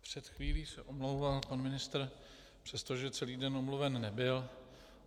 Před chvílí se omlouval pan ministr, přestože celý den omluven nebyl.